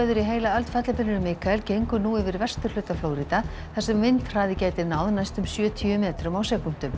í heila öld fellibylurinn Mikael gengur nú yfir vesturhluta Flórída þar sem vindhraði gæti náð næstum sjötíu metrum á sekúndu